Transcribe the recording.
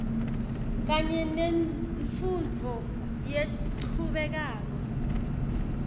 kanye nemfundvo lechubekako